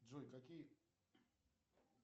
джой какие